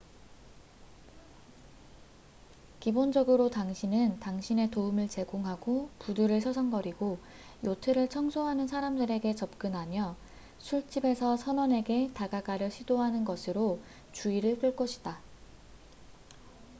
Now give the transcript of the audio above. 기본적으로 당신은 당신의 도움을 제공하고 부두를 서성거리고 요트를 청소하는 사람들에게 접근하며 술집에서 선원에게 다가가려 시도하는 것으로 주의를 끌것이다